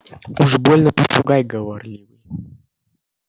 уж больно попугай говорливый